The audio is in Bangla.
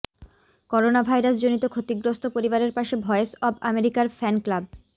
করোনা ভাইরাস জনিত ক্ষতিগ্রস্থ পরিবারের পাশে ভয়েস অব আমেরিকার ফ্যান ক্লাব